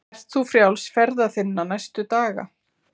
Ert þú frjáls ferða þinna næstu daga?